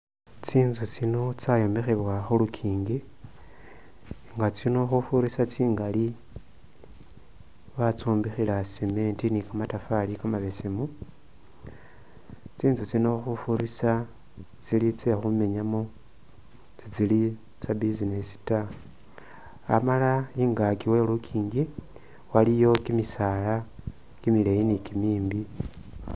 Tsinzu tsino tsayombekhebwa khulunkingi tsinzu tsino khufurisa tsingali batsombekhela cement ni kamatofali kamabesemu, tsinzu tsino khufurisa tsili tsekhumenyamo sitsili tsa'business taa amala ingaki we'lunkingi waliyo kimisaala kimileyi ni kimimbi